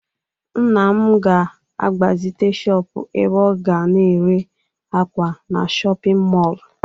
Nna m ga-agbazite shọpụ ebe ọ ga na-ere akwa na shọpịn mọọlụ.